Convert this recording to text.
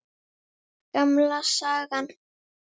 Gamla sagan.